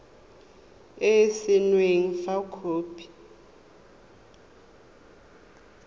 e e saenweng fa khopi